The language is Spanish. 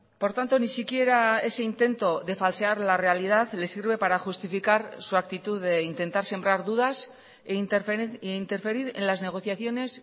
por tanto ni siquiera ese intento de falsear la realidad le sirve para justificar su actitud de intentar sembrar dudas e interferir en las negociaciones